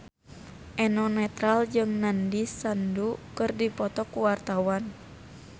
Eno Netral jeung Nandish Sandhu keur dipoto ku wartawan